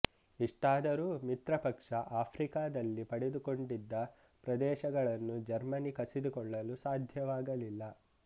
ಇಷ್ಟಾದರೂ ಮಿತ್ರಪಕ್ಷ ಆಫ್ರಿಕದಲ್ಲಿ ಪಡೆದುಕೊಂಡಿದ್ದ ಪ್ರದೇಶಗಳನ್ನು ಜರ್ಮನಿ ಕಸಿದುಕೊಳ್ಳಲು ಸಾಧ್ಯವಾಗಲಿಲ್ಲ